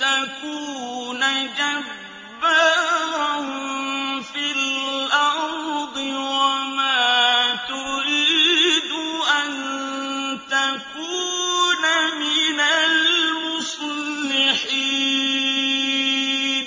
تَكُونَ جَبَّارًا فِي الْأَرْضِ وَمَا تُرِيدُ أَن تَكُونَ مِنَ الْمُصْلِحِينَ